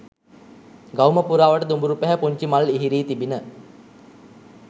ගවුම පුරාවට දුඹුරු පැහැ පුන්චි මල් ඉහිරී තිබිණ.